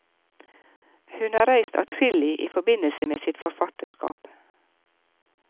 Hun har reist adskillig i forbindelse med sitt forfatterskap.